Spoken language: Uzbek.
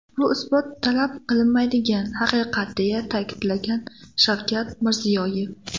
Bu isbot talab qilmaydigan, haqiqat”, deya ta’kidlagan Shavkat Mirziyoyev.